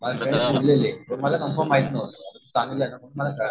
मला कन्फर्म माहित नव्हतं